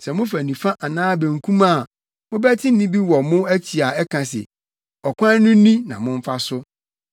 Sɛ mofa nifa anaa benkum a, mobɛte nne bi wɔ mo akyi a ɛka se, “Ɔkwan no ni na momfa so.”